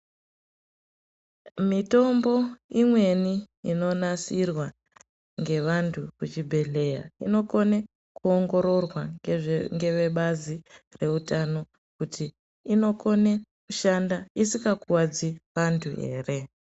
Mitombo imweni inonasirwa ngevandu kuzvibhedhleya inokone kuongororwa ngevebazi reutano kuti inokone kushanda isika kuwadzi vanthu ere.